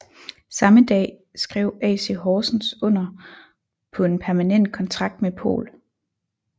Samme dag skre AC Horsens under på en permanent kontrakt med Pohl